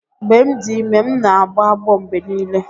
Mgbe m dị ime, m na-agbọ agbọ mgbe niile.